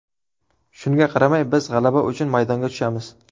Shunga qaramay biz g‘alaba uchun maydonga tushamiz.